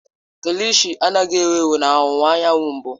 Kilishi anaghị ewu ewu na ọwụwa anyanwụ mbụ.